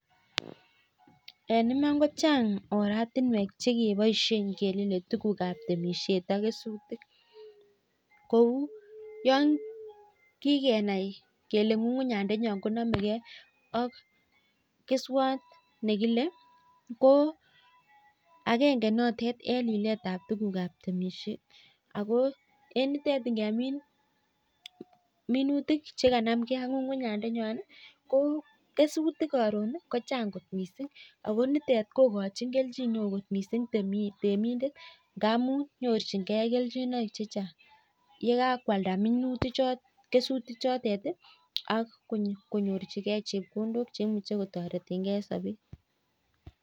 Chang oratinwek chekebaishei kengemee tuguk ab temishet ak kesutik kouu yakikenai kelee kukunyat konamekei ak keswat nekilee ko akengee notok